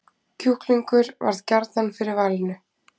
Kjúklingur varð gjarnan fyrir valinu